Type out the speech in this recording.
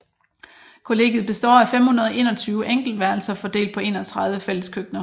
Kollegiet består af 521 enkeltværelser fordelt på 31 fælleskøkkener